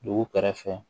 Dugu kɛrɛfɛ